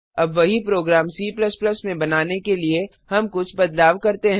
अब वही program C में बनाने के लिए हम कुछ बदलाव करते हैं